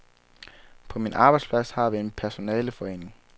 På min arbejdsplads har vi en personaleforening.